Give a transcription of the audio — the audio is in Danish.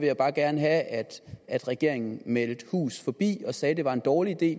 jeg bare gerne have at regeringen meldte hus forbi og sagde at det var en dårlig idé